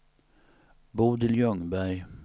Bodil Ljungberg